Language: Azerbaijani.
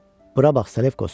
Bura bax, Salefkos.